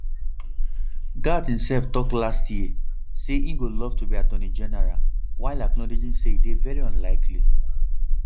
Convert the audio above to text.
gaetz imself tok last year say e go love to be attorney general while acknowledging say e dey very unlikely